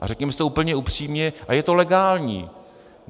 A řekněme si to úplně upřímně a je to legální.